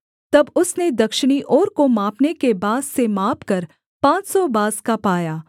तब उसने दक्षिणी ओर को मापने के बाँस से मापकर पाँच सौ बाँस का पाया